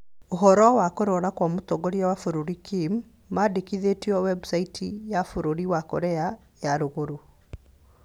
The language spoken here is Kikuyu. Ũhoro wa kũrwara Kwa mũtongoria wa bũrũri Kim, mandĩkĩtwo website ya bũrũri wa Korea ya rũrũgũrũ